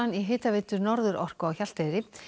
í hitaveitu Norðurorku á Hjalteyri